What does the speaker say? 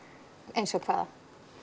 eins og hvaða